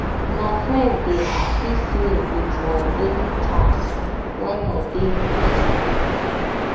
my friend dey um assist me with my daily tasks when i dey busy um